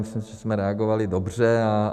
Myslím si, že jsme reagovali dobře.